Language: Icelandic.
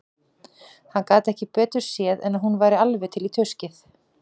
Hann gat ekki betur séð en að hún væri alveg til í tuskið.